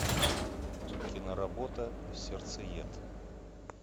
киноработа сердцеед